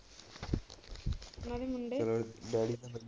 ਉਨਾ ਦੇ ਮੁੰਡੇ .